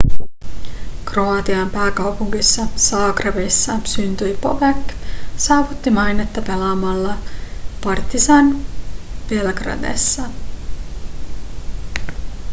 kroatian pääkaupungissa zagrebissa syntynyt bobek saavutti mainetta pelaamalla partizan belgradessa